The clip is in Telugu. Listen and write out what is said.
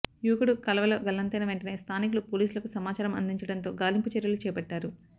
యువకుడు కాల్వలో గల్లంతైన వెంటనే స్థానికులు పోలీసులకు సమాచారం అందించడంతో గాలింపు చర్యలు చేపట్టారు